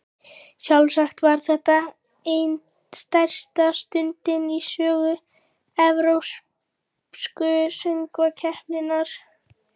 Sjálfsagt var þetta ein stærsta stundin í sögu Evrópsku söngvakeppninnar.